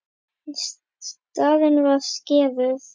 En skaðinn var skeður.